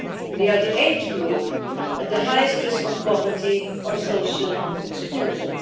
They are the age group at the highest risk of poverty or social exclusion.